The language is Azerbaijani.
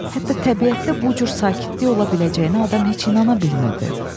Hətta təbiətdə bu cür sakitlik ola biləcəyinə adam heç inana bilmirdi.